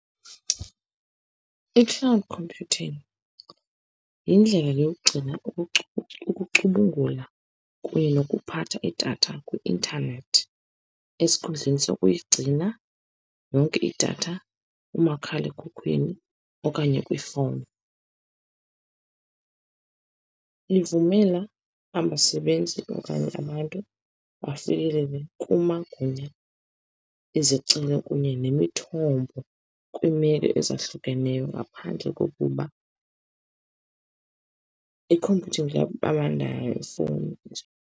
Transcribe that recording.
I-cloud computing yindlela yokugcina, ucubungula, kunye nokuphatha idatha kwi-intanethi, esikhundleni sokuyigcina yonke idatha kumakhalekhukhwini okanye kwifowuni. Ivumela abasebenzi okanye abantu bafikelele kumagunya ezicelo kunye nemithombo kwimeko ezahlukeneyo, ngaphandle kokuba .